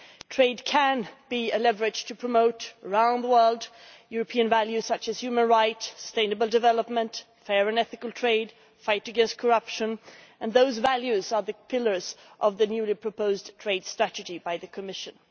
Trade can be a leverage to promote, around the world, European values such as human rights, sustainable development, fair and ethical trade and the fight against corruption, and those values are the pillars of the newly proposed trade strategy by the Commission.